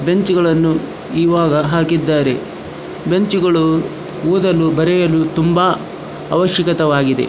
ಬೆಂಚ್ಗಳನ್ನು ಇವಾಗ ಹಾಕಿದ್ದಾರೆ ಬೆಂಚ್ಗಳು ಓದಲು ಬರೆಯಲು ತುಂಬ ಅವಶ್ಯಕತವಾಗಿದೆ.